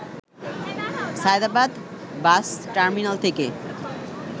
Sayedabad bus terminal থেকে